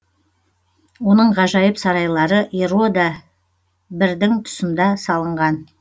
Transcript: оның ғажайып сарайлары ирода бірдің тұсында салынған